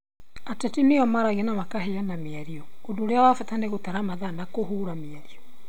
Ateti nĩo maragia na makaheana mĩario, ũndũ ũrĩa wa bata nĩ gũtara mathaa na kũhũũra mĩario.